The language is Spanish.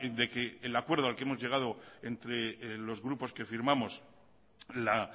de que el acuerdo al que hemos llegado entre los grupos que firmamos la